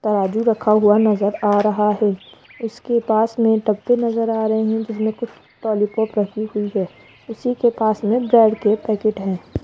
तराजू रखा हुआ नजर आ रहा है उसके पास मडब्बे नजर आ रहे हैं जिसमें कुछ लॉलीपॉप रखी हुई है उसी के पास में ब्रेड के पैकेट है।